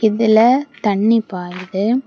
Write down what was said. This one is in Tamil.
இதுல தண்ணி பாய்யுது.